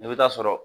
I bɛ taa sɔrɔ